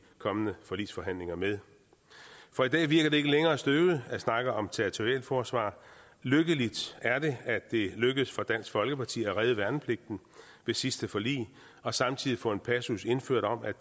kommende forligsforhandlinger med for i dag virker det ikke længere støvet at snakke om territorialforsvar lykkeligt er det at det lykkedes for dansk folkeparti at redde værnepligten ved sidste forlig og samtidig få en passus indført om at